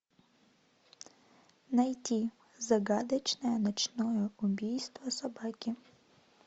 найти загадочное ночное убийство собаки